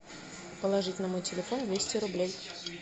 положить на мой телефон двести рублей